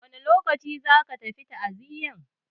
Wane lokaci za ka tafi ta'aziyan?